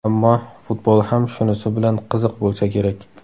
Ammo futbol ham shunisi bilan qiziq bo‘lsa kerak.